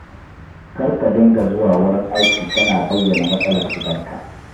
Kar ka dinga zuwa wurin aiki kana bayyana matsalar gidanka.